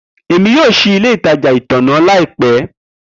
Emi yoo ṣii ile itaja itanna laipẹ